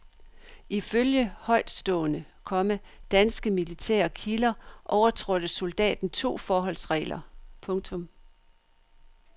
Ifølge højtstående, komma danske militære kilder overtrådte soldaten to forholdsregler. punktum